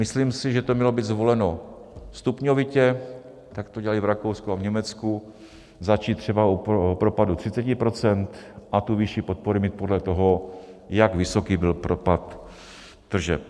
Myslím si, že to mělo být zvoleno stupňovitě, jak to dělají v Rakousku a Německu, začít třeba u propadu 30 % a tu výši podpory mít podle toho, jak vysoký byl propad tržeb.